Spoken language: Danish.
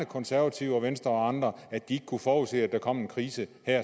konservative venstre og andre at de ikke kunne forudse at der kom en krise